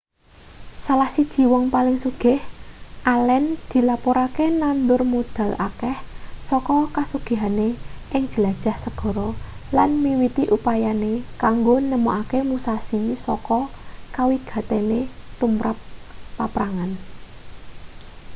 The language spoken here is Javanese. salah siji wong paling sugih allen dilapurake nandur modal akeh saka kasugihane ing jelajah segara lan miwiti upayane kanggo nemokake musashi saka kawigatene tumrap paprangan